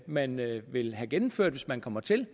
man vil vil have gennemført hvis man kommer til